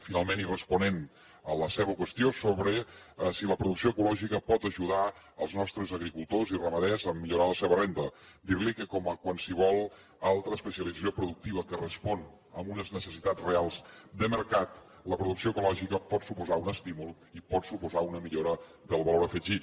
finalment i responent a la seva qüestió sobre si la producció ecològica pot ajudar els nostres agricultors i ramaders a millorar la seva renda dir li que com qualsevol altra especialització productiva que respon a unes necessitats reals de mercat la producció ecològica pot suposar un estímul i pot suposar una millora del valor afegit